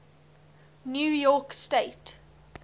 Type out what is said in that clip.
new york state